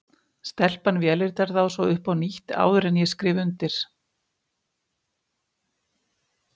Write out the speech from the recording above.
Stelpan vélritar þá svo upp á nýtt, áður en ég skrifa undir.